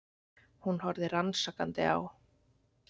Hún horfði rannsakandi á